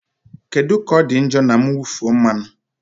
Kedu ka ọ dị njọ na mwụfu mmanụ?